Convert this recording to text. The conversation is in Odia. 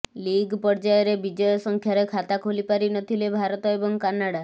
ଲିଗ୍ ପର୍ଯ୍ୟାୟରେ ବିଜୟ ସଂଖ୍ୟାରେ ଖାତା ଖୋଲି ପାରି ନଥିଲେ ଭାରତ ଏବଂ କାନାଡା